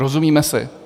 Rozumíme si?